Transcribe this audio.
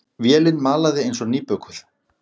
Vélin malaði eins og nýbökuð.